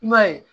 I b'a ye